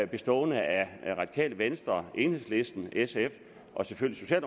bestående af radikale venstre enhedslisten sf og selvfølgelig